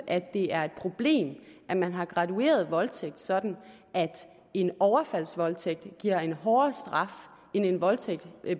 at det er et problem at man har gradueret voldtægt sådan at en overfaldsvoldtægt giver en hårdere straf end en voldtægt